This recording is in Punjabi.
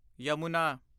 ਯਮੁਨਾ